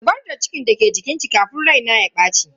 Zubar da cikin da ke jikinki kafin rai na ya baci.